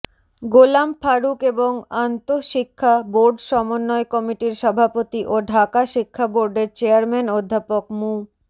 গোলাম ফারুক এবং আন্তঃশিক্ষা বোর্ড সমন্বয় কমিটির সভাপতি ও ঢাকা শিক্ষা বোর্ডের চেয়ারম্যান অধ্যাপক মু